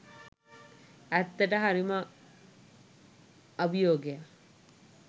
ඇත්තටම හරිම අභියෝගයක්